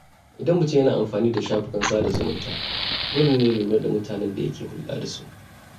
Idan mutum yana amfani da shafukan sada zumunta, dole ne ya lura da mutanen da yake hulɗa da su.